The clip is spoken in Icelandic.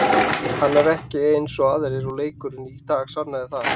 Hann er ekki eins og aðrir og leikurinn í dag sannar það.